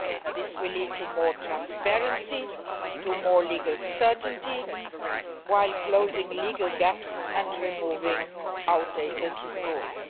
This will lead to more transparency and more legal certainty while closing legal loopholes and removing outdated rules.